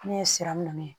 Ne ye siran minɛ